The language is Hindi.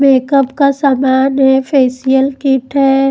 मेकअप का सामान है फेसियल किट है।